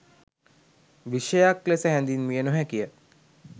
විෂයයයක් ලෙස හැඳින්විය නොහැකිය.